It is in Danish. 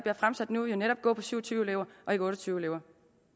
fremsat nu jo netop gå på syv og tyve elever og ikke otte og tyve elever